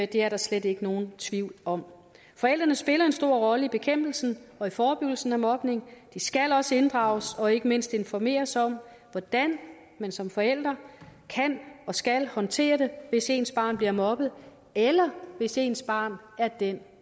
det er der slet ikke nogen tvivl om forældrene spiller en stor rolle i bekæmpelsen og i forebyggelsen af mobning de skal også inddrages og ikke mindst informeres om hvordan man som forældre kan og skal håndtere det hvis ens barn bliver mobbet eller hvis ens barn er den